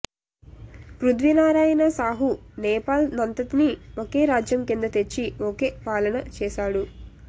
పృధ్వీనారాయణ శాహు నేపాల్ నంతనీ ఒకే రాజ్యం కింద తెచ్చి ఒకే పాలన చేశాడు